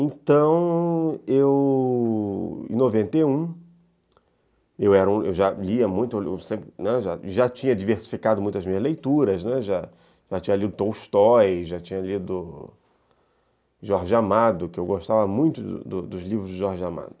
Então, eu.. em noventa e um, eu era, eu já lia muito, já tinha diversificado muito as minhas leituras, já tinha lido Tolstói, já tinha lido Jorge Amado, que eu gostava muito dos livros de Jorge Amado.